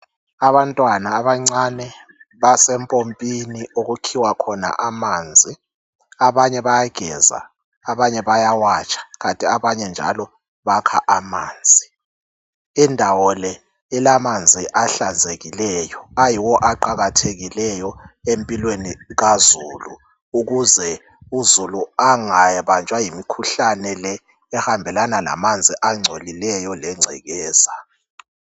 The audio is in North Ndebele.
Abantwana abancane basempompini okukhiwa khona amanzi. Abanye bayageza abanye bayawatsha kanti abanye njalo bakha amanzi. Indawo le ilamanzi ahlanzekileyo ayiwo aqakathekileyo empilweni kazulu ukuze uzulu angabanjwa yimkhuhlane le ehambelana lamanzi angcolileyo lengcekeza.